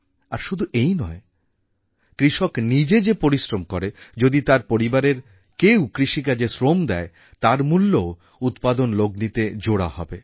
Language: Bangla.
আর শুধু এই নয় কৃষক নিজে যে পরিশ্রম করে যদি তার পরিবারের কেউ কৃষিকাজে শ্রম দেয় তার মূল্যও উৎপাদন লগ্নিতে জোড়া হবে